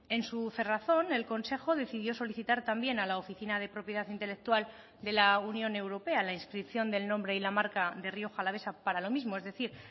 en su cerrazón el consejo decidió solicitar también a la oficina de propiedad intelectual de la unión europea la inscripción del nombre y la marca de rioja alavesa para lo mismo es decir